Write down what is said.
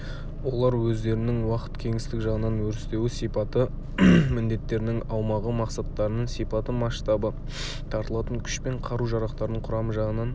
олар өздерінің уақыт кеңістік жағынан өрістеуі сипаты міндеттерінің аумағы мақсаттарының сипаты масштабы тартылатын күш пен қару-жарақтарының құрамы жағынан